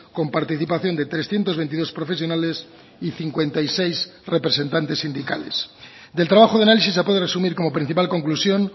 con participación de trescientos veintidós profesionales y cincuenta y seis representantes sindicales del trabajo de análisis se puede resumir como principal conclusión